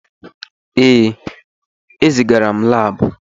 Ee, ezigara m laabụ.